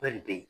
Bɛɛ de bɛ yen